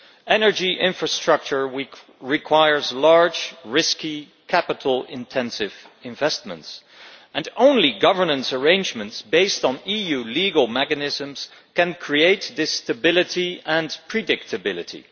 Energy infrastructure requires large, risky capital intensive investments, and only governance arrangements based on EU legal mechanisms can create this stability and predictability.